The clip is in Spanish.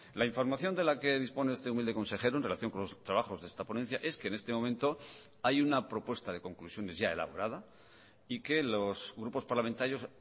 la información de la que dispone este humilde consejero en relación con los trabajos de esta ponencia es que en este momento hay una propuesta de conclusiones ya elaborada y que los grupos parlamentarios